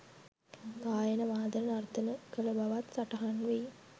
ගායන වාදන නර්තන කළ බවත් සටහන්වෙයි